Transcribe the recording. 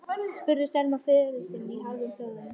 spurði Selma föður sinn í hálfum hljóðum.